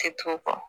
Tɛ tun kɔ